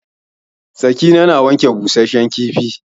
Sakina na wanke busashen kifi.